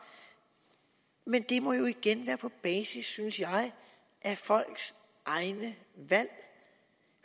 men det må jo igen være på basis af folks egne valg